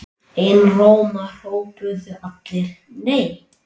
Einróma hrópuðu allir: NEI!